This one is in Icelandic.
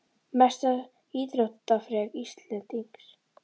Mesta íþróttaafrek Íslendings?